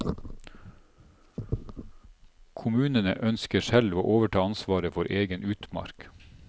Kommunene ønsker selv å overta ansvaret for egen utmark.